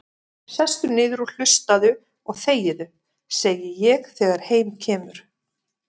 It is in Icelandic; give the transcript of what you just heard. Sestu niður og hlustaðu og þegiðu, segi ég þegar heim kemur.